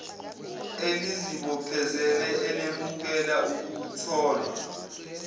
elizibophezele elemukela ukutholwa